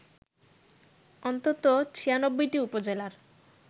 অন্তত ৯৬টি উপজেলার